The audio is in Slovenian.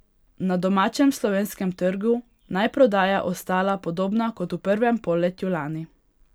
Na domačem, slovenskem trgu naj prodaja ostala podobna kot v prvem polletju lani.